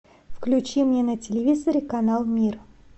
включи мне на телевизоре канал мир